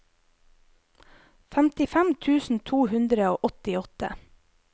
femtifem tusen to hundre og åttiåtte